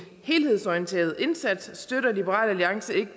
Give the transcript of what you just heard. helhedsorienteret indsats støtter liberal alliance ikke